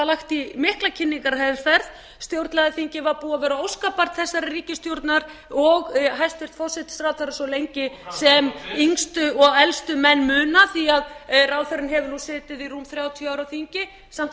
lagt í mikla kynningarherferð stjórnlagaþingið var búið að vera óskabarn þessarar ríkisstjórnar og hæstvirtur forsætisráðherra svo lengi sem yngstu og elstu menn muna því ráðherrann hefur nú setið í rúm þrjátíu ár á þingi samt var